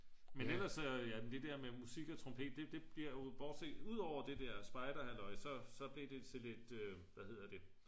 men ellers så det der med musik og trompet det blev jo udover det der spejderhalløj så blev det til lidt hvad hedder det